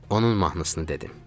Onun mahnısını dedim.